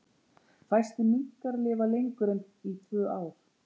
Fæstir minkar lifa lengur en í tvö ár.